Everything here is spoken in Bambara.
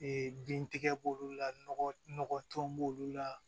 bintigɛ b'olu la nɔgɔ tɔn b'olu la